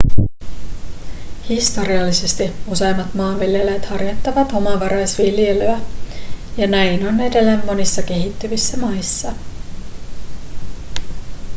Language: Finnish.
historiallisesti useimmat maanviljelijät harjoittivat omavaraisviljelyä ja näin on edelleen monissa kehittyvissä maissa